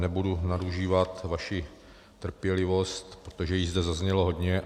Nebudu nadužívat vaši trpělivost, protože již zde zaznělo hodně.